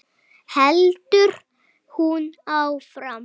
heldur hún áfram.